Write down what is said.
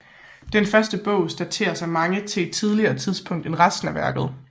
Den første bog dateres af mange til et tidligere tidspunkt end resten af værket